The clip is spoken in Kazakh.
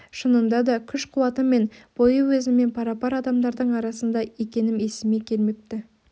шынында да күш-қуаты мен бойы өзіммен пара-пар адамдардың арасында екенім есіме келмепті